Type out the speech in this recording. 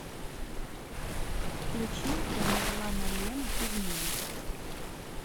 включи тамерланалена измены